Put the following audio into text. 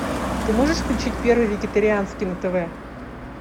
ты можешь включить первый вегетарианский на тв